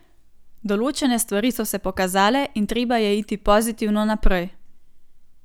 Določene stvari so se pokazale in treba je iti pozitivno naprej.